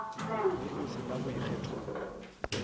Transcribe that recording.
ge o se na boikgethelo